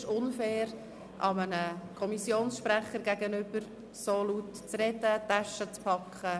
Ich finde es einem Kommissionssprecher gegenüber unfair, so laut zu sprechen und die Taschen zu packen!